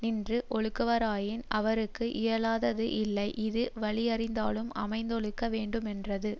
நின்று ஒழுகுவராயின் அவர்க்கு இயலாதது இல்லை இது வலியறிந்தாலும் அமைந்தொழுக வேண்டுமென்றது